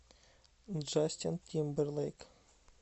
джастин тимберлейк